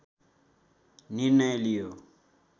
निर्णय लियो